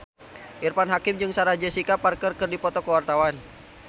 Irfan Hakim jeung Sarah Jessica Parker keur dipoto ku wartawan